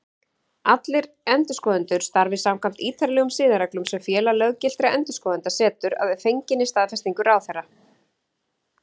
Allir endurskoðendur starfi samkvæmt ítarlegum siðareglum sem Félag löggiltra endurskoðenda setur, að fenginni staðfestingu ráðherra.